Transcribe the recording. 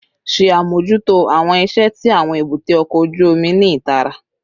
Ṣe amojuto awọn iṣẹ ti awọn ebute oko oju omi ni itara